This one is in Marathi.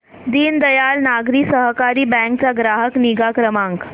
दीनदयाल नागरी सहकारी बँक चा ग्राहक निगा क्रमांक